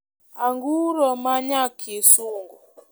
anguro ma nya kisungu.